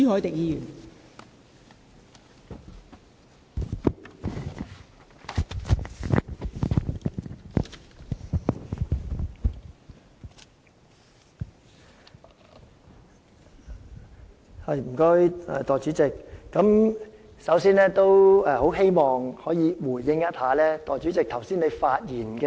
代理主席，我首先希望回應一下代理主席剛才的發言。